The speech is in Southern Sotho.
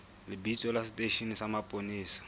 lebitso la seteishene sa mapolesa